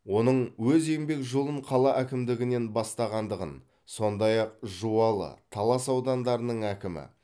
оның өз еңбек жолын қала әкімдігінен бастағандығын сондай ақ жуалы талас аудандарының әкімі